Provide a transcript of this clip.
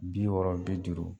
Bi wɔɔrɔ bi duuru.